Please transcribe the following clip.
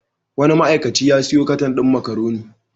Wani ma'aikaci ya sayo katan din makaroni.